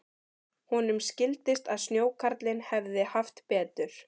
Honum skildist að snjókarlinn hefði haft betur.